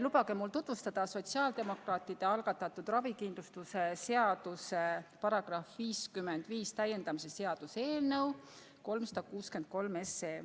Lubage mul tutvustada sotsiaaldemokraatide algatatud ravikindlustuse seaduse § 55 täiendamise seaduse eelnõu 363.